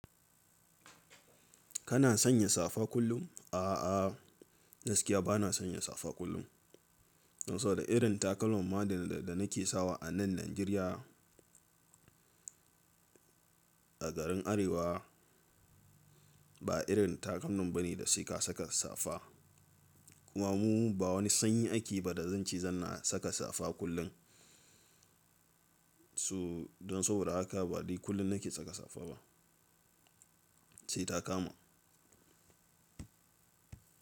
Kana sanya safa kullum? A'a, gaskiya bana sanya safa kullum. Don saboda irin takalman ma da, da nake sawa anan Najeriya. A garin Arewa ba irin takalmin bane da sai ka saka safa. Kuma mu ba wani sanyi ake ba da zan ce zan na saka safa kullun. So don saboda haka ba dai kullum nake saka safa ba. Sai ta kama.